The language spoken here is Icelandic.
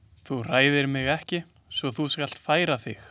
Þú hræðir mig ekki svo þú skalt færa þig.